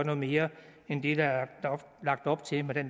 noget mere end det der er lagt op til med det